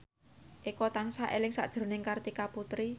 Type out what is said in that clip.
Eko tansah eling sakjroning Kartika Putri